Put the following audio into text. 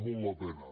molt la pena